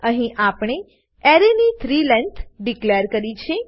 અહી આપણે એરે ની 3 લેંગ્થ ડીકલેર કરી છે